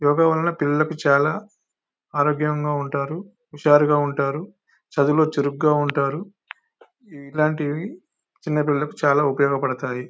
యోగ వలనా పిల్లలకు చాల ఆరోగ్యాంగా ఉంటారు ఉషారుగా ఉంటారు చదువుల్లో చురుగా ఉంటారు ఇల్లాంటివి చిన్న పిల్లలకి చాల ఉపయోగా పాడుతాయి.